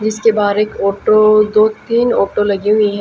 जिसके बाहर एक ऑटो दो तीन ऑटो लगी हुई है।